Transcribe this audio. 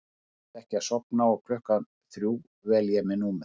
Mér tekst ekki að sofna og klukkan þrjú vel ég númer